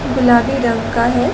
गुलाबी रंग का है।